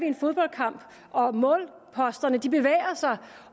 en fodboldkamp og målposterne bevæger sig